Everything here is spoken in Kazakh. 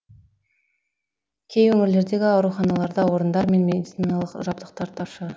кей өңірлердегі ауруханаларда орындар мен медициналық жабдықтар тапшы